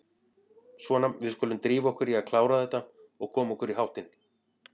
Svona, við skulum drífa okkur í að klára þetta og koma okkur í háttinn.